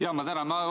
Jaa, ma tänan!